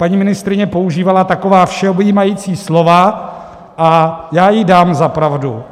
Paní ministryně používala taková všeobjímající slova a já jí dám za pravdu.